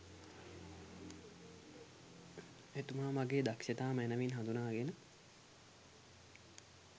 එතුමා මගේ දක්‍ෂතා මැනවින් හඳුනාගෙන